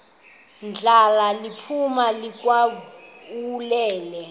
ndla liphuma likhawulele